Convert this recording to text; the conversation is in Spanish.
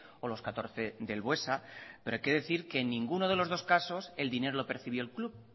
o los catorce del buesa pero hay que decir que en ninguno de los dos casos el dinero lo percibió el club